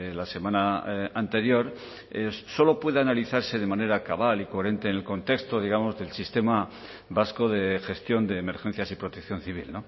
la semana anterior solo puede analizarse de manera cabal y coherente en el contexto digamos del sistema vasco de gestión de emergencias y protección civil